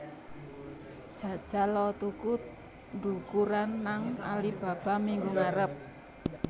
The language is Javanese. Jajal o tuku ndukuran nang Alibaba minggu ngarep